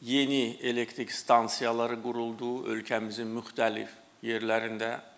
Yeni elektrik stansiyaları quruldu ölkəmizin müxtəlif yerlərində.